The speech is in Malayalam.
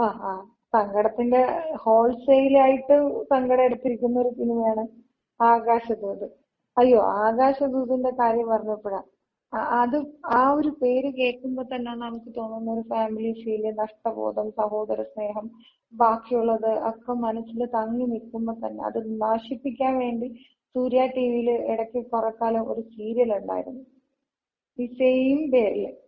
ങ്ങാ ങ്ങാ. സങ്കടത്തിന്‍റെ ഹോൾസെയില് ആയിട്ട് സങ്കടം എടുത്തിരിക്കുന്ന ഒര് സിനിമയാണ് ആകാശദൂത്. അയ്യോ ആകാശദൂതിന്‍റെ കാര്യം പറഞ്ഞപ്പഴാ, അത് ആ ഒര് പേര് കേക്കുമ്പോതന്ന നമുക്ക്‌ തോന്നുന്ന ഒര് ഫാമിലി ഫീല്, നഷ്ടബോധം, സഹോദര സ്നേഹം ബാക്കിയുള്ളത് ഒക്ക മനസ്സില് തങ്ങി നിൽക്കമ്പ തന്ന അത് നശിപ്പിക്കാവേണ്ടി സൂര്യ ടിവിയില് ഇടക്ക്‌ കൊറെക്കാലം ഒര് സീരിയലൊണ്ടാരുന്ന്. ഈ സെയിം പേരില്.